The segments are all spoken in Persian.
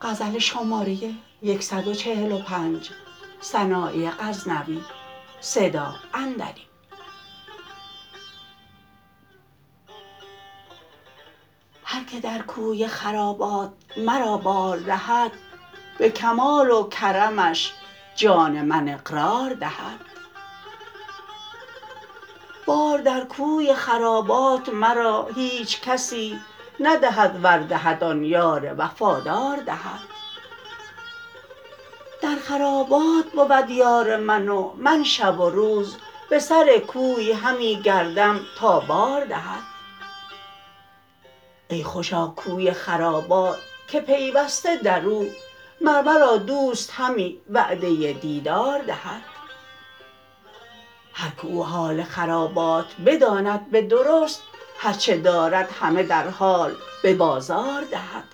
هر که در کوی خرابات مرا بار دهد به کمال و کرمش جان من اقرار دهد بار در کوی خرابات مرا هیچ کسی ندهد ور دهد آن یار وفادار دهد در خرابات بود یار من و من شب و روز به سر کوی همی گردم تا بار دهد ای خوشا کوی خرابات که پیوسته در او مر مرا دوست همی وعده دیدار دهد هر که او حال خرابات بداند به درست هر چه دارد همه در حال به بازار دهد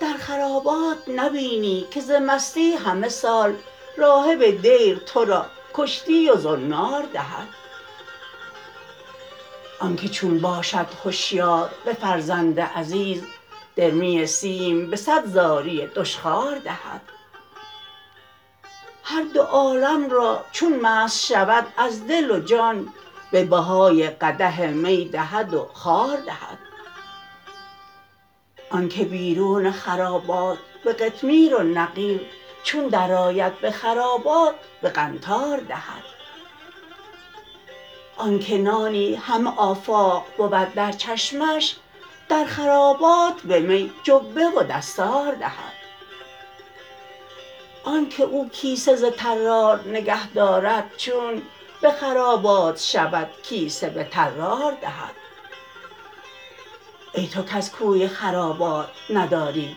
در خرابات نبینی که ز مستی همه سال راهب دیر ترا کشتی و زنار دهد آنکه چون باشد هشیار به فرزند عزیز درمی سیم به صد زاری دشخوار دهد هر دو عالم را چون مست شود از دل و جان به بهای قدح می دهد و خوار دهد آنکه بیرون خرابات به قطمیر و نقیر چون در آید به خرابات به قنطار دهد آنکه نانی همه آفاق بود در چشمش در خرابات به می جبه و دستار دهد آنکه او کیسه ز طرار نگهدارد چون به خرابات شود کیسه به طرار دهد ای تو کز کوی خرابات نداری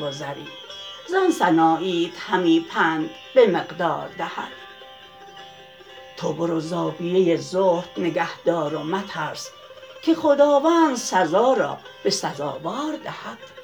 گذری زان سناییت همی پند به مقدار دهد تو برو زاویه زهد نگهدار و مترس که خداوند سزا را به سزاوار دهد